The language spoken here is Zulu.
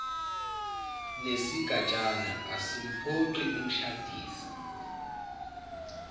nesigatshana asimphoqi umshadisi